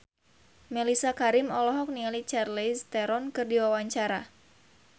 Mellisa Karim olohok ningali Charlize Theron keur diwawancara